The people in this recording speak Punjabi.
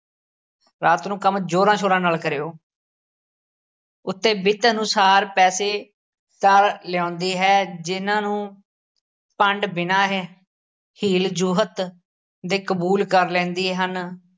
ਰਾਤ ਨੂੰ ਕੰਮ ਜੋਰਾਂ ਸ਼ੋਰਾਂ ਨਾਲ ਕਰਿਓ ਉੱਤੇ ਬਿੱਤ ਅਨੁਸਾਰ ਪੈਸੇ ਤਾਂ ਲਿਆਉਂਦੀ ਹੈ ਜਿਹਨਾਂ ਨੂੰ ਭੰਡ ਬਿਨਾਂ ਹ~ ਹੀਲ ਜੋਹਤ ਦੇ ਕਬੂਲ ਕਰ ਲੈਂਦੇ ਹਨ।